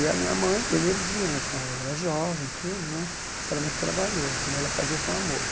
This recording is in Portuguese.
E a minha mãe, energia na, ela era jovem e tudo né, mas era muito trabalhoso, mas ela fazia com amor.